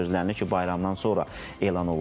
Gözlənilir ki, bayramdan sonra elan olunsun.